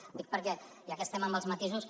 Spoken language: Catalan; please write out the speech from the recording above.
ho dic perquè ja que estem amb els matisos